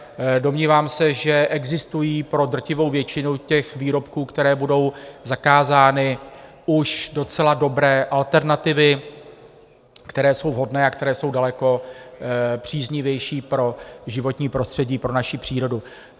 Domnívám se, že existují pro drtivou většinu těch výrobků, které budou zakázány, už docela dobré alternativy, které jsou vhodné a které jsou daleko příznivější pro životní prostředí, pro naši přírodu.